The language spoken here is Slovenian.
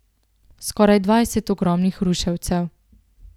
Skoraj dvajset ogromnih ruševcev!